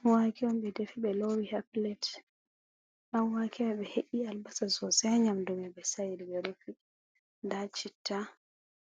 Ɗanwake on ɓe defi ɓe loowi haa pilet. Ɗanwake mai ɓe he’i tingere masin haa nƴamdu mai, ɓe sa'iri ɓe rufi. Nda citta,